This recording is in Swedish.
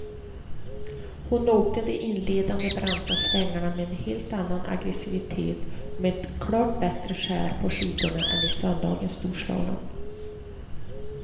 Hon åkte de inledande branta svängarna med en helt annan aggresivitet och med ett klart bättre skär på skidorna än i söndagens storslalom.